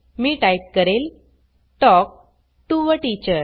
मी type करेल talk to a teacher